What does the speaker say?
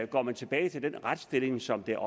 går man tilbage til den retsstilling som der